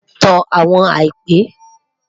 Tan awọn àìpẹ